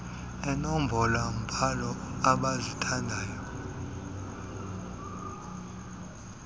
eenombolo mbhalo abazithandayo